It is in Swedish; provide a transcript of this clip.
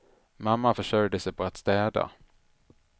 Mamma försörjde sig på att städa.